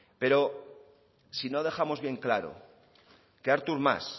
pero sino dejamos bien claro que artur mas